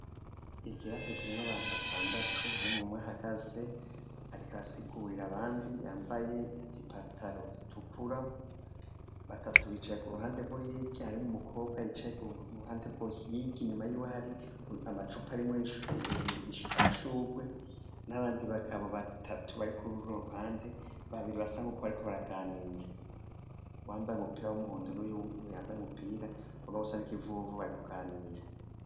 Ikirasa kirimwo abantu batandatu, harimwo umwe ahagaze, ariko arasigurira abandi yambaye ipataro itukura abandi, batatu bicaye ku ruhande rwo hirya harimwo umukobwa yicaye hirya, inyuma yiwe hari amacupa arimwo amashurwe. N'abandi bagabo batatu bari kuri runo ruhande, babiri basa n'uko bariko baraganira. Uwambaye umupira w'umuhondo n'uwu yambaye umupira w'ikivuvu barikuganira.